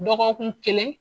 Dɔgɔkun kelen.